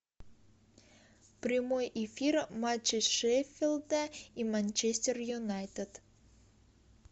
прямой эфир матча шеффилда и манчестер юнайтед